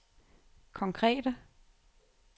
konkrete